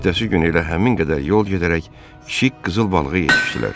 Ertəsi gün elə həmin qədər yol gedərək kiçik qızıl balığa yetişdilər.